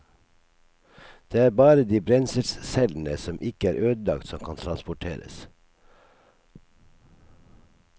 Det er bare de brenselscellene som ikke er ødelagt som kan transporteres.